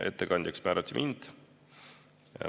Ettekandjaks määrati mind.